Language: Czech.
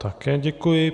Také děkuji.